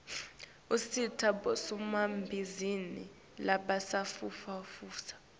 usita bosomabhizinisi labasafufusa